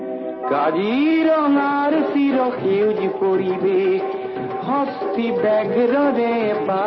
కానీ సాగర్ ములే గారు ఈ కళ కు కొత్త జీవం పోశారు